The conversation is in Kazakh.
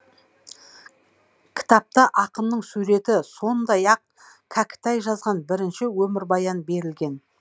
кітапта ақынның суреті сондай ақ кәкітай жазған бірінші өмірбаян берілген